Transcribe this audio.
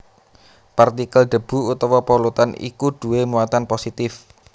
Partikel debu utawa polutan iku duwé muatan positif